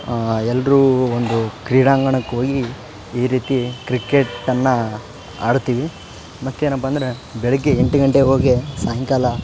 ಆ ಎಲ್ಲ್ರು ಒಂದು ಕ್ರೀಂಡಾಂಗಣಕ್ ಹೋಗಿ ಈ ರೀತಿ ಕ್ರಿಕೆಟ್ ನ್ನ ಆಡ್ತೀವಿ ಮತ್ತೇನಪ್ಪ ಅಂದ್ರೆ ಬೆಳಗ್ಗೆ ಎಂಟು ಗಂಟೆಗೆ ಹೋಗಿ ಸಾಯಂಕಾಲ.